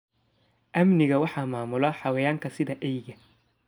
Amniga waxaa maamula xayawaanka sida eeyga.